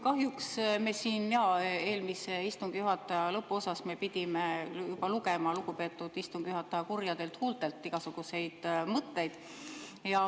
Kahjuks me siin eelmise istungi juhataja lõpus pidime juba lugema lugupeetud istungi juhataja kurjadelt huultelt igasuguseid mõtteid.